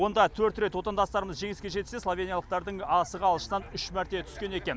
онда төрт рет отандастарымыз жеңіске жетсе словениялықтардың асығы алшынан үш мәрте түскен екен